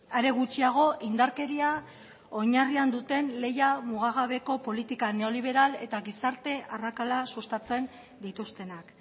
are gutxiago indarkeria oinarrian duten lehia mugagabeko politika neoliberal eta gizarte arrakala sustatzen dituztenak